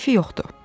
Keyfi yoxdur.